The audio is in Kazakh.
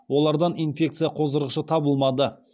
олардан инфекция қоздырғышы табылмады